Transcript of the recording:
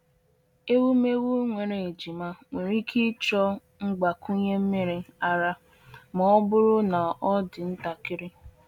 Ewumewụ nwere ejima nwere ike ịchọ mgbakwunye nmiri ara ma ọ bụrụ na ọ dị ntakịrị.